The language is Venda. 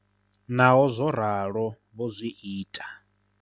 Naho zwo ralo vho zwi ita.